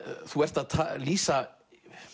þú ert að lýsa